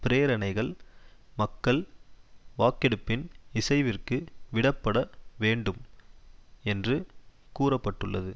பிரேரணைகள் மக்கள் வாக்கெடுப்பின் இசைவிற்கு விடப்பட வேண்டும் என்று கூற பட்டுள்ளது